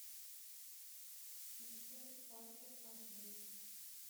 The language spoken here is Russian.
включай паркер эйч ди